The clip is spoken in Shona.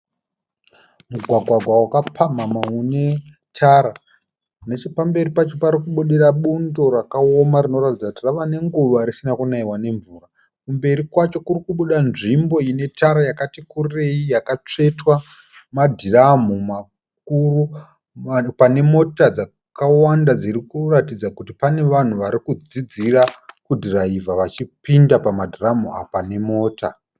Mugwagwagwa wakapamhamha une tara. Nechepamberi pacho parikubudira bundo rakaoma rinoratidza kuti rava nenguva risina kunaiwa nemvura. kumberi kwacho kuri kubuda nzvimbo ine tara yakati kurei yakatsvetwa madhiramu makuru pane mota dzakawanda dziri kuratidza kuti pane vanhu varikudzidzira kudhiraivha vachipinda pamadhiramu apa nemota.